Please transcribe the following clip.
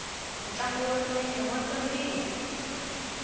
ntlangu wa milenge wa tsakisa